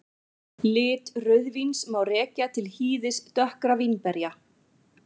Lit rauðvíns má rekja til hýðis dökkra vínberja.